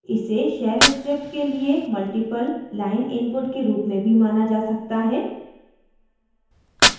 इसे shell script के लिए multiple line input के रूप में भी माना जा सकता है